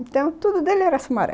Então, tudo dele era Sumaré.